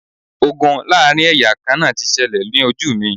Ogun láàrin ẹ̀yà kan náà ti ṣẹlẹ̀ ní ojú mi